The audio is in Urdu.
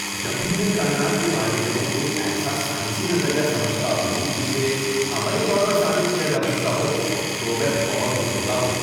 جب بھی میں کائنات کے بارے میں کوئی ایسا سائنسی نظریہ سمجھتا ہوں جسے عملی طور پر ثابت کیا جا سکتا ہو تو میں بہت خوش ہوتا ہوں۔